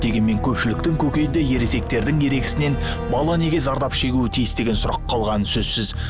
дегенмен көпшіліктің көкейінде ересектердің ерегісінен бала неге зардап шегуі тиіс деген сұрақ қалғаны сөзсіз